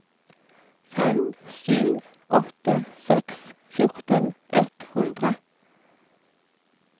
fem sju åtte seks fjorten ett hundre